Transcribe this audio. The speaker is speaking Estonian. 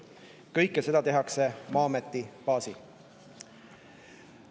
Kõike seda tehakse Maa-ameti baasil.